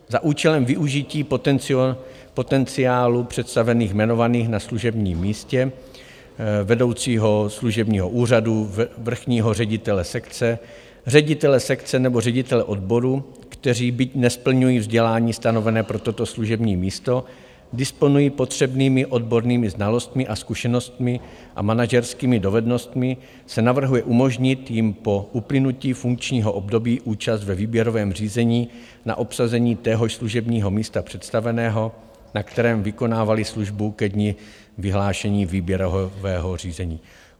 Za účelem využití potenciálu představených jmenovaných na služebním místě vedoucího služebního úřadu, vrchního ředitele sekce, ředitele sekce nebo ředitele odboru, kteří, byť nesplňují vzdělání stanovené pro toto služební místo, disponují potřebnými odbornými znalostmi a zkušenostmi a manažerskými dovednostmi, se navrhuje umožnit jim po uplynutí funkčního období účast ve výběrovém řízení na obsazení téhož služebního místa představeného, na kterém vykonávali službu ke dni vyhlášení výběrového řízení.